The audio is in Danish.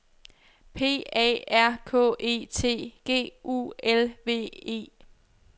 P A R K E T G U L V E